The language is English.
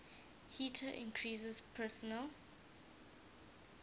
heater increases personal